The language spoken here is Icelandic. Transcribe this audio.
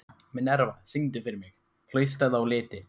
Minerva, syngdu fyrir mig „Haustið á liti“.